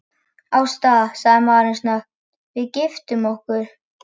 Ásta, sagði maðurinn snöggt, við giftum okkur.